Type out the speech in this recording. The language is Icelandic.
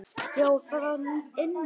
Já, það var ilmur!